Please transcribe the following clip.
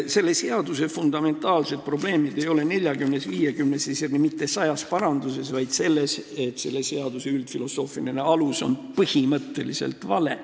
Selle seaduseelnõu fundamentaalsed probleemid ei ole 40-s, 50-s ja isegi mitte sajas paranduses, vaid selles, et selle seaduse üldfilosoofiline alus on põhimõtteliselt vale.